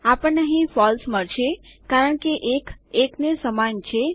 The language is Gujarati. આપણને અહીં ફોલ્સ મળશે કારણ કે ૧ ૧ને સમાન છે